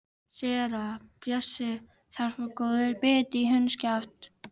SÉRA SIGURÐUR: Þar fór góður biti í hundskjaft.